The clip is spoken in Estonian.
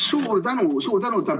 Suur tänu!